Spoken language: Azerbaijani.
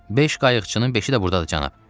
Beş qayıqçının beşi də burdadır, cənab.